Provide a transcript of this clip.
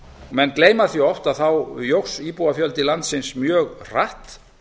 menn gleyma því oft að þá jókst íbúafjöldi landsins mjög hratt